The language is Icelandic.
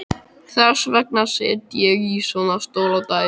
Þess vegna sit ég í svona stól á daginn.